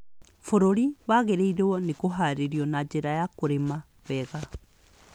Bũrũri wagĩrĩirũo nĩ kũhaarĩrio na njĩra ya kũrĩma wega.